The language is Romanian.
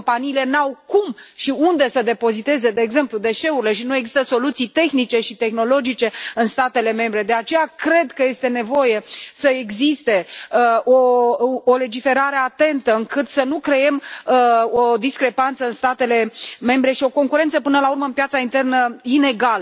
Companiile nu au cum și unde să depoziteze, de exemplu, deșeurile și nu există soluții tehnice și tehnologice în statele membre. De aceea, cred că este nevoie să existe o legiferare atentă, astfel încât să nu creăm o discrepanță statele membre și o concurență, până la urmă, inegală pe piața internă.